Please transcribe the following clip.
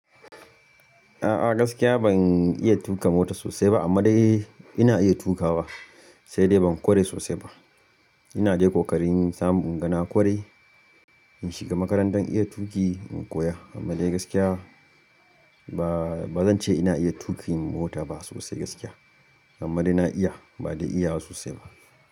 A'a gaskiya ban iya tuƙa mota sosai ba amma dai ina iya tukawa, sai dai ban ƙware sosai ba. Ina de kokarin samu ingana kware in shiga makarantan iya tuki in koya, amma dai gaskiya ba, ba zan ce ina iya tukin mota ba sosai gaskiya amma dai na iya ba dai iyawa sosai ba.